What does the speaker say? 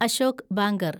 Ashok banker